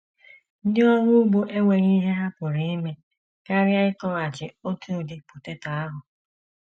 Ndị ọrụ ugbo enweghị ihe ha pụrụ ime karịa ịkọghachi otu udị poteto ahụ.